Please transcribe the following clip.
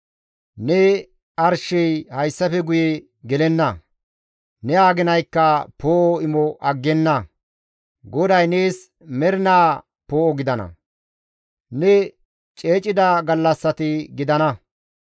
Ne arshey hayssafe guye gelenna; ne aginaykka poo7o imo aggenna. GODAY nees mernaa poo7o gidana; ne ceecida gallassati gidana.